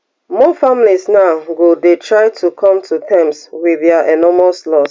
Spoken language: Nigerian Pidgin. more families now go dey try to come to terms wit dia enormous loss